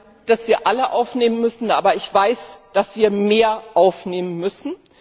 Ich meine, dass wir alle aufnehmen müssen, aber ich weiß, dass wir mehr aufnehmen müssen.